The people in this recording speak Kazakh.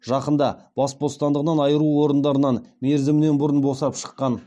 жақында бас бостандығынан айыру орындарынан мерзімінен бұрын босап шыққан